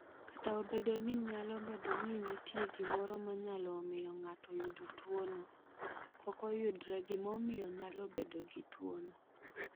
"Kata obedo ni nyalo bedo ni nitie gimoro ma nyalo miyo ng’ato oyud tuwono, pok oyudre gimomiyo nyalo bedo gi tuwono."